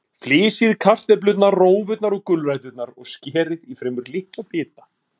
Flysjið kartöflurnar, rófurnar og gulræturnar og skerið í fremur litla bita.